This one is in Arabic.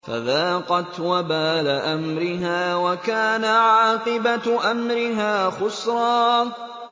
فَذَاقَتْ وَبَالَ أَمْرِهَا وَكَانَ عَاقِبَةُ أَمْرِهَا خُسْرًا